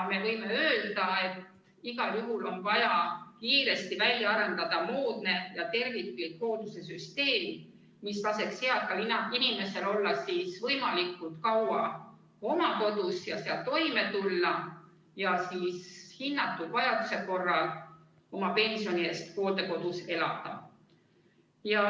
Me võime öelda, et igal juhul on vaja kiiresti välja arendada moodne ja terviklik hoolduse süsteem, mis laseks eakal inimesel olla võimalikult kaua oma kodus ja seal toime tulla ning alles hinnatud vajaduse korral oma pensioni eest hooldekodus elada.